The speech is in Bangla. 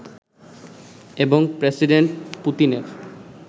এবং প্রেসিডেন্ট পুতিনের